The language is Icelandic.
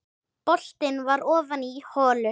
Boltinn var ofan í holu.